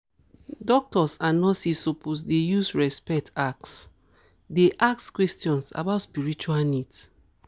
doctors and nurses suppose dey use respect ask dey ask questions about spiritual needs